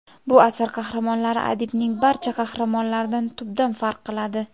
Bu asar qahramonlari adibning barcha qahramonlaridan tubdan farq qiladi.